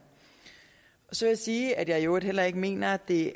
så vil jeg sige at jeg i øvrigt heller ikke mener at det